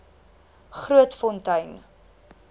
grootfontein